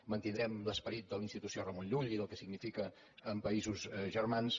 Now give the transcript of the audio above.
mantindrem l’esperit de la institució ramon llull i del que significa en països germans